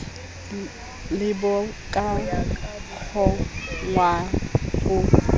le bo ka kgonwang ho